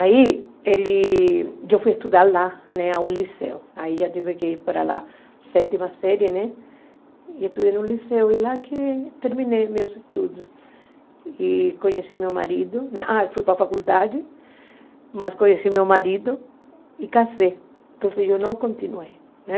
Aí, ele, eu fui estudar lá, né, ao liceu, aí já tive que ir para lá, sétima série, né, e estudei no liceu e lá que terminei meus estudos e conheci meu marido, né, ah, fui para a faculdade, mas conheci meu marido e casei, então eu não continuei, né.